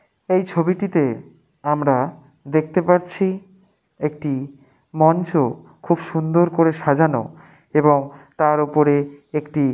এই ছবিটিতে আমরা দেখতে পাচ্ছি একটি মঞ্চ খুব সুন্দর করে সাজানো এবং তার ওপরে একটি।